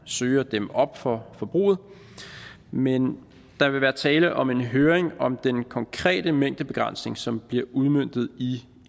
søge at dæmme op for forbruget men der vil være tale om en høring om den konkrete mængdebegrænsning som bliver udmøntet i